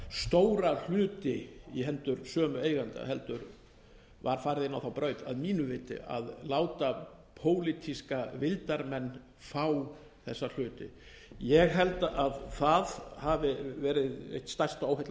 stóra hluti í hendur sömu eigenda heldur var farið inn á þá braut að eigu viti að láta pólitíska vildarmenn fá þessa hluti ég held að það hafi verið eitt stærsta óheillasporið þess vegna er